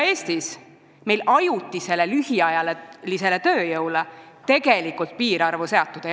Eestis ei ole ajutisele lühiajalisele tööjõule tegelikult piirarvu seatud.